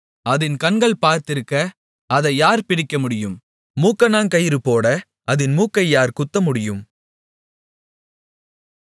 அதின் கண்கள் பார்த்திருக்க அதை யார் பிடிக்கமுடியும் மூக்கணாங்கயிறுபோட அதின் மூக்கை யார் குத்தமுடியும்